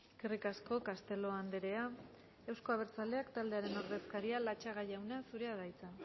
eskerrik asko castelo andrea euzko abertzaleak taldearen ordezkaria latxaga jauna zurea da hitza